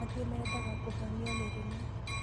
Angĩ meendaga kũhonio mĩrimũ